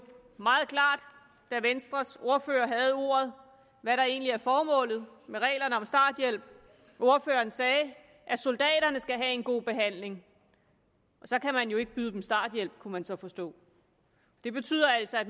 meget klart da venstres ordfører havde ordet hvad der egentlig er formålet med reglerne om starthjælp ordføreren sagde at soldaterne skal have en god behandling og så kan man jo ikke byde dem starthjælp kunne man så forstå det betyder altså at